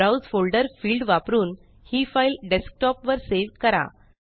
browse folder field वापरून हि file desktop वर सेव करा